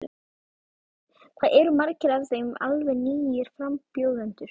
Heimir: Hvað eru margir af þeim alveg nýir frambjóðendur?